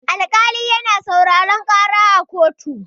Alƙali na sauraran ƙara a koto.